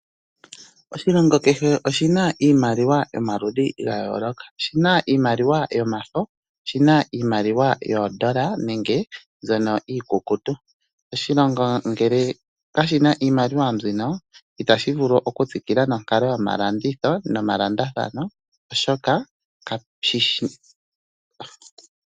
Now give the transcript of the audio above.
Oshilongo kehe oshina iimaliwa yomaludhi gayoloka ,oshina iimaliwa yomafo, oshina iimaliwa yoondola nenge mbyono iikukutu. Oshilongo ngele kashina iimaliwa mbyino itashi vulu okutsikila nonkalo yomalanditho no malandathano oshoka kashishi.